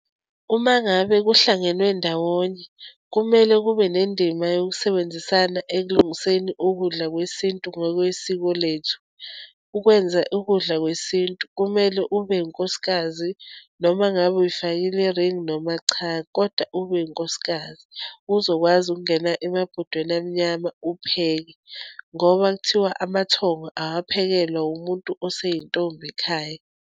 Uma ngabe kuhlangenwe ndawonye, kumele kube nendima yokusebenzisana ekulungiseni ukudla kwesintu ngokwesiko lethu. Ukwenza ukudla kwesintu, kumele ube unkosikazi, noma ngabe uyifakile i-ring, noma cha, kodwa ubewunkosikazi, uzokwazi ukungena emabhodweni amnyama upheke, ngoba kuthiwa amathongo awaphekelwa umuntu osayintombi ekhaya.